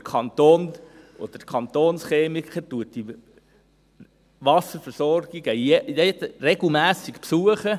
Der Kanton oder der Kantonschemiker besucht diese Wasserversorgungen regelmässig.